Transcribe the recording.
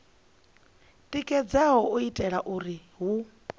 tikedzaho u itela uri hu